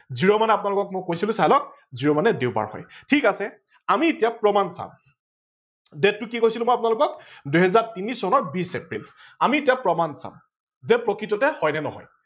zero মানে মই আপোনালোকক কৈছিলো চাই লওক zero মানে দেওবাৰ হয়। ঠিক আছে আমি এতিয়া প্ৰমান চাম date টো কি কৈছিলো মই আপোনালোকক দুহেজাৰ তিনি চনৰ বিছ এপ্ৰিল ।আমি এতিয়া প্ৰমান চাম যে প্ৰকৃততে হয় নে নহয়